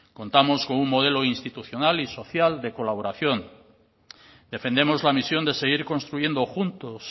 contamos con un modelo institucional y social de colaboración defendemos la misión de seguir construyendo juntos